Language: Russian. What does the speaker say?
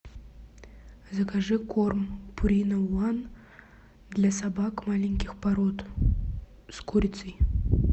закажи корм пурина ван для собак маленьких пород с курицей